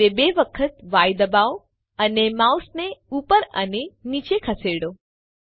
હવે બે વખત ય દબાવો અને માઉસને ઉપર અને નીચે ખસેડો